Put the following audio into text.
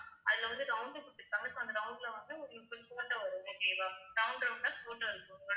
அதுல வந்து round குடுத்து இருக்காங்க so அந்த round ல வந்து உங்களுக்கு ஒரு photo வரும் okay வா round round அஹ் photo இருக்கும் ma'am